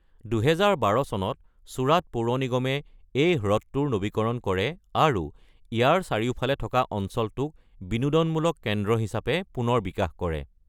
২০১২ চনত চুৰাট পৌৰ নিগমে এই হ্ৰদটোৰ নৱীকৰণ কৰে, আৰু ইয়াৰ চাৰিওফালে থকা অঞ্চলটোক বিনোদনমূলক কেন্দ্ৰ হিচাপে পুনৰ বিকাশ কৰে।